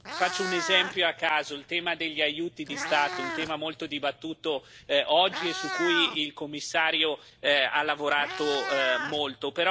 Faccio un esempio a caso il tema degli aiuti di Stato, un tema molto dibattuto oggi e su cui il Commissario ha lavorato molto.